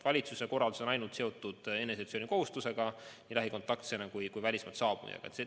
Valitsuse korraldus on ainult seotud eneseisolatsiooni kohustusega nii lähikontaktsena kui välismaalt saabujana.